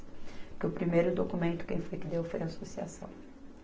Porque o primeiro documento quem foi que deu foi a associação.